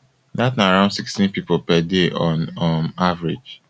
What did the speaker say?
dat na around sixteen pipo per day on um average